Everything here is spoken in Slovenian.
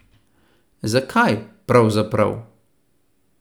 Zakaj, pravzaprav?